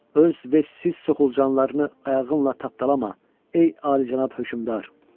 Öz vəsiz soxulcanlarını ayağınla tapdalama, ey alicənab hökümdar.